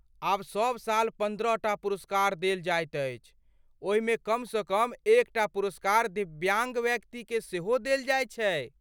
आब सब साल पन्द्रहटा पुरस्कार देल जाइत अछि, ओहिमे कमसँ कम एकटा पुरस्कार दिव्याङ्ग व्यक्तिकेँ सेहो देल जाइत छैक।